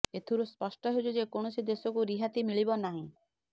ଏଥିରୁ ସ୍ପଷ୍ଟ ହେଉଛି ଯେ କୌଣସି ଦେଶକୁ ରିହାତି ମିଳିବ ନାହିଁ